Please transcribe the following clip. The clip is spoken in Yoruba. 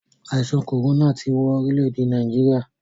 Àìsàn kòrónà ti wọn orílè-èdè Nàìjíríà.